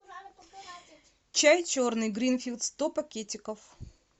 чай черный гринфилд сто пакетиков